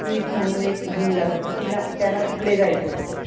मदतनीस म्हणून हे घेऊन जातात तर त्याला तिकडे जायचं होतं.